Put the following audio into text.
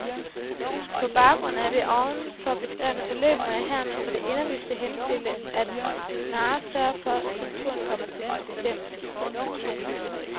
På baggrund af det ovenfor beskrevne forløb må jeg hermed på det inderligste henstille, at du snarest sørger for at skulpturen kommer til sit bestemmelsessted.